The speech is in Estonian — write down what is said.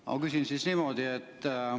Ma küsin siis niimoodi.